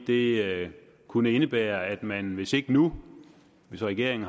det kunne indebære at man hvis ikke nu hvor regeringen